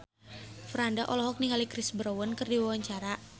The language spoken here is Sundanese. Franda olohok ningali Chris Brown keur diwawancara